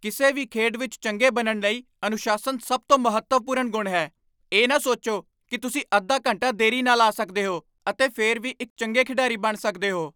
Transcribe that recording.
ਕਿਸੇ ਵੀ ਖੇਡ ਵਿੱਚ ਚੰਗੇ ਬਣਨ ਲਈ ਅਨੁਸ਼ਾਸਨ ਸਭ ਤੋਂ ਮਹੱਤਵਪੂਰਨ ਗੁਣ ਹੈ। ਇਹ ਨਾ ਸੋਚੋ ਕਿ ਤੁਸੀਂ ਅੱਧਾ ਘੰਟਾ ਦੇਰੀ ਨਾਲ ਆ ਸਕਦੇ ਹੋ ਅਤੇ ਫਿਰ ਵੀ ਇੱਕ ਚੰਗੇ ਖਿਡਾਰੀ ਬਣ ਸਕਦੇ ਹੋ।